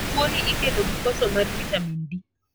Tuo ni ikelo gi koso mar vitamin D.